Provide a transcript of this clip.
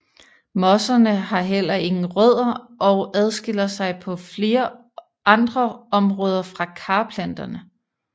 Mosserne har heller ingen rødder og adskiller sig på flere andre områder fra karplanterne